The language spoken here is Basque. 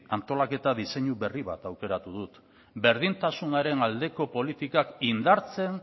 antolaketa diseinu berri bat aukeratu dut berdintasunaren aldeko politikak indartzen